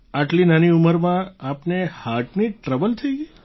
આટલી નાની ઉંમરમાં આપને હાર્ટની ટ્રબલ થઈ ગઈ